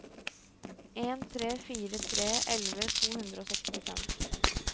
en tre fire tre elleve to hundre og sekstifem